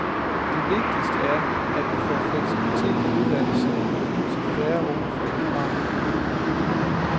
Det vigtigste er, at vi får fleksibilitet i uddannelserne, så færre unge falder fra.